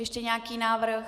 Ještě nějaký návrh?